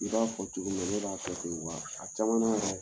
I b'a fɔ cogo min na ne b'a kɛ ten de wa a caman na yɛrɛ